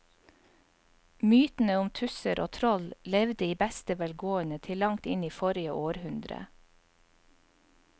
Mytene om tusser og troll levde i beste velgående til langt inn i forrige århundre.